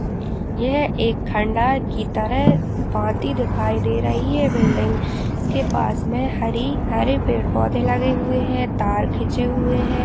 यह एक खंडहर की तरह बाटी दिखाई दे रही है। बिल्डिंग इसके पास में हरे - हरे पेड़ पौधे लगे हुए हैं। तार खिचे हुए हैं।